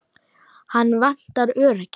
Hana vantar öryggi.